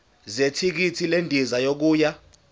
zethikithi lendiza yokuya